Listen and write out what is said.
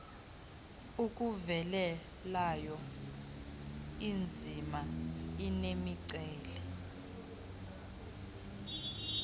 akuvelelayo iinzima nemiceli